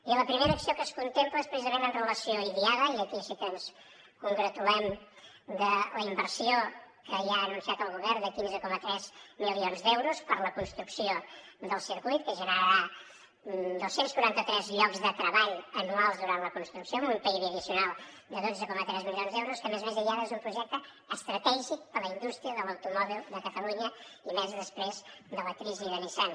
i la primera acció que es contempla és precisament en relació amb idiada i aquí sí que ens congratulem de la inversió que ja ha anunciat el govern de quinze coma tres milions d’euros per a la construcció del circuit que generarà dos cents i quaranta tres llocs de treball anuals durant la construcció amb un pib addicional de dotze coma tres milions d’euros que a més a més idiada és un projecte estratègic per a la indústria de l’automòbil de catalunya i més després de la crisi de nissan